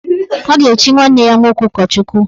A ga-echi nwanne ya nwoke ụkọchukwu.